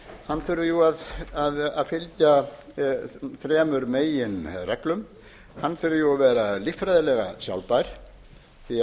hann þurfi að fylgja þremur meginreglum hann þurfi að vera líffræðilega sjálfbær því við þurfum að gæta þess